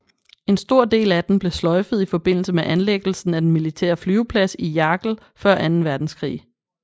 En stor del af den blev sløjfet i forbindelse med anlæggelsen af den militære flyveplads i Jagel før Anden Verdenskrig